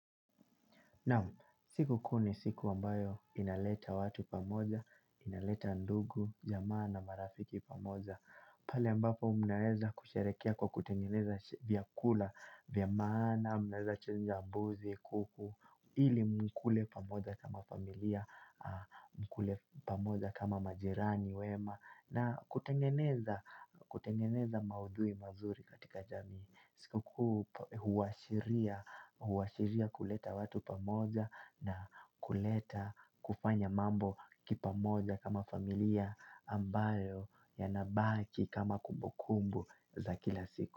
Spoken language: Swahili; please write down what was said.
Siku kuu ni siku ambayo, inaleta watu pamoja, inaleta ndugu, jamaa na marafiki pamoja. Pale ambapo mnaeza kusherekea kwa kutengeneza vyakula, vya maana, mnaeza chinja buzi, kuku, ili mkule pamoja kama familia. Mkule pamoja kama majirani wema. Na kutengeneza. Kutengeneza maudhui mazuri katika jamii. Siku kuu huwashiria kuleta watu pamoja na kuleta kufanya mambo kipamoja kama familia, ambayo ya nabaki kama kumbukumbu za kila siku.